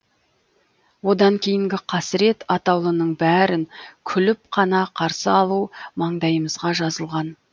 одан кейінгі қасірет атаулының бәрін күліп қана қарсы алу маңдайымызға жазылған